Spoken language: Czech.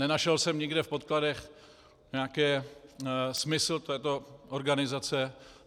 Nenašel jsem nikde v podkladech nějaký smysl této organizace.